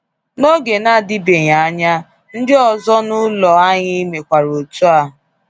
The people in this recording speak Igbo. N’oge na-adịbeghị anya, ndị ọzọ n’ụlọ anyị mekwara etu a.